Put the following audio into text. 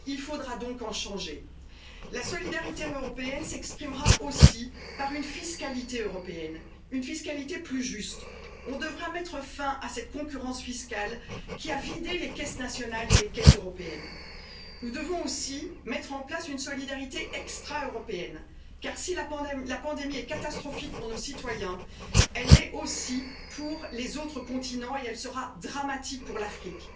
années. Il faudra donc en changer. La solidarité européenne s'exprimera aussi par une fiscalité européenne, une fiscalité plus juste. Nous devrons mettre fin à cette concurrence fiscale qui a vidé les caisses nationales et les caisses européennes. Nous devons aussi mettre en place une solidarité extra européenne car, si la pandémie est catastrophique pour nos citoyens, elle l'est aussi pour les autres continents et elle sera dramatique pour